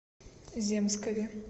земскове